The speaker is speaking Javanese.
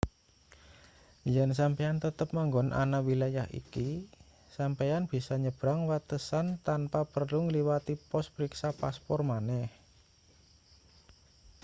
yen sampeyan tetep manggon ana wilayah iki sampeyan bisa nyebrang watesan tanpa perlu ngliwati pos priksa paspor maneh